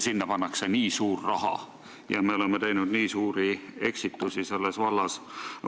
Sinna pannakse nii suur raha ja me oleme teinud nii suuri eksitusi selles vallas.